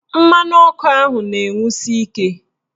Mmanụ ọkụ ahụ na-enwusi ike